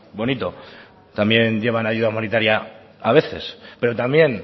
bonito también llevan ayuda humanitaria a veces pero también